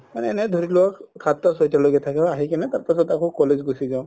মানে এনে ধৰি লওক সাততা চয়তা লৈকে থাকে আহি কিনে তাৰ পিছত আৰু college গুচি যাও